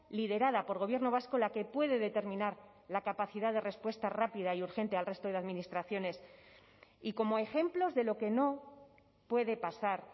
liderada por gobierno vasco la que puede determinar la capacidad de respuesta rápida y urgente al resto de administraciones y como ejemplos de lo que no puede pasar